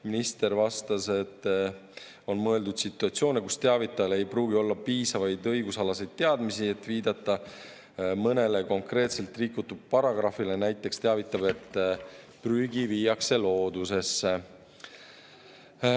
Minister vastas, et on mõeldud situatsioone, kus teavitajal ei pruugi olla piisavaid õigusalaseid teadmisi, et viidata mõnele konkreetselt rikutud paragrahvile, näiteks teavitab, et prügi viiakse loodusesse.